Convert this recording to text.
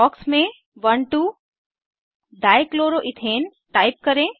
box में 12 dichloroethane type करें